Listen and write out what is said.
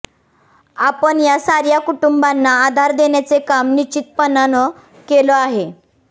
आपण या सार्या कुटुंबांना आधार देण्याचे काम निश्चितपणानं केलं आहे